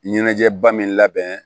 Ɲɛnajɛba min labɛn